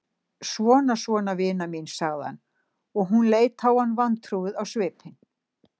Svona, svona, vina mín, sagði hann, og hún leit á hann vantrúuð á svipinn.